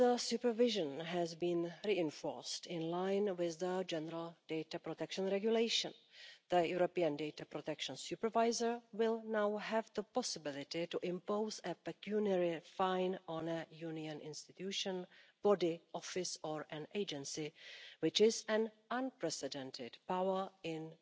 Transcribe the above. Supervision has also been reinforced, in line with the General Data Protection Regulation. The European Data Protection Supervisor will now have the possibility to impose a pecuniary fine on a Union institution, body, office or agency, which is an unprecedented power